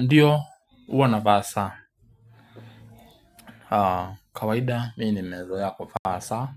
Ndiyo uwa nafaa saa. Kawaida mii nimezoea kuvaa saa.